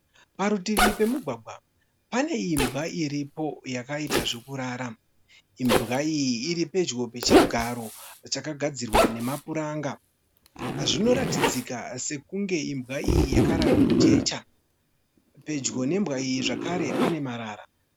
Parutivi pemugwagwa pane imbwa iripo yakaita zvokurara. Imbwa iyi iri pedyo pechigaro chakagadzirwa nepuranga. Zvinoratidzika sekunge imbwa iyi yakarara mujecha. Pedyo nembwa iyi zvekare pane marara.